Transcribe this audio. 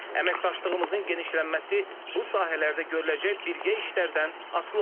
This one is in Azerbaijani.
Əməkdaşlığımızın genişlənməsi bu sahələrdə görüləcək birgə işlərdən asılı olacaq.